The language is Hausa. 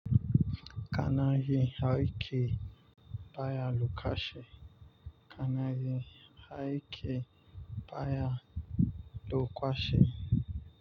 Kana yin aiki bayan lukaci. Kana yin aiki baya lukache.